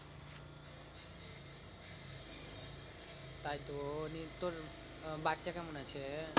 তাই তো নিয়ে তোর আহ বাচ্চা কেমন আছে?